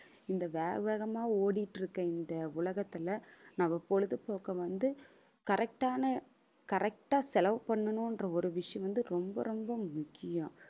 இந்த வேக~ வேகமா ஓடிட்டு இருக்க இந்த உலகத்துல நம்ம பொழுதுபோக்கை வந்து correct ன்ன correct ஆ செலவு பண்ணணுன்ற ஒரு விஷயம் வந்து ரொம்ப ரொம்ப முக்கியம்